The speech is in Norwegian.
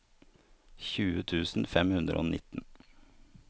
tjue tusen fem hundre og nitten